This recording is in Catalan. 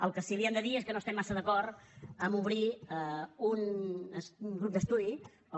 el que sí li hem de dir és que no estem massa d’acord a obrir un grup d’estudi o